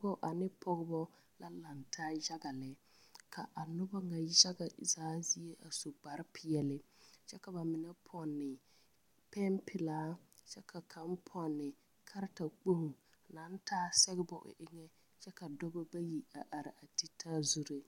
Dɔba ane pɔgba la laŋtaa yaga lɛ ka a noba nyɛ zaa zie a su kpare peɛle kyɛ ka ba mine pɔnne pɛmpilaa kyɛ ka kaŋ pɔnne kareta kpoŋ naŋ taa sɛgebo o eŋa kyɛ ka dɔba bayi are titaa zuree.